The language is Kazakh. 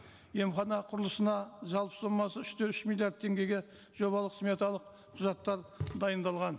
емхана құрылысына жалпы сомасы үш те үш миллиард теңгеге жобалық сметалық құжаттар дайындалған